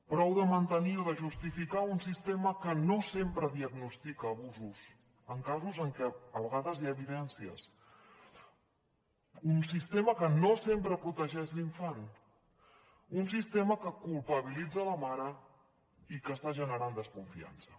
prou de mantenir o de justificar un sistema que no sempre diagnostica abusos en casos en què a vegades hi ha evidències un sistema que no sempre protegeix l’infant un sistema que culpabilitza la mare i que està generant desconfiança